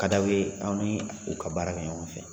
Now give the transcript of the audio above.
Ka d'aw ye aw ni u ka baara kɛ ɲɔgɔn fɛ.